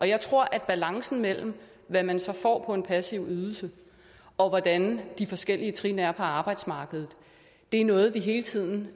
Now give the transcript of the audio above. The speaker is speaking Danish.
jeg tror at balancen mellem hvad man så får på en passiv ydelse og hvordan de forskellige trin er på arbejdsmarkedet er noget vi hele tiden